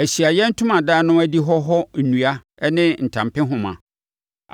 Ahyiaeɛ Ntomadan no adihɔ hɔ nnua ne ne ntampehoma,